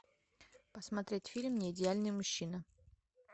посмотреть фильм не идеальный мужчина